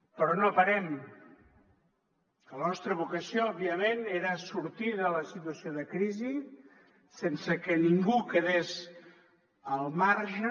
però no parem perquè la nostra vocació òbviament era sortir de la situació de crisi sense que ningú en quedés al marge